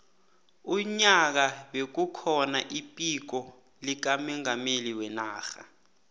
unyaka bekukhona iphiko likamongameli wenarha